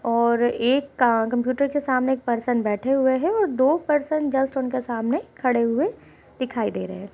और एक का कम्प्यूटर के सामने एक पर्सन बैठे हुए हैं और दो पर्सन जस्ट उनके सामने खड़े हुए दिखाई दे रहे हैं।